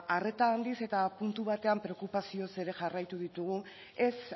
arreta handiz eta puntu batean preokupazioz ere jarraitu ditugu ez